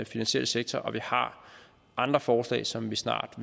finansielle sektor og vi har andre forslag som vi snart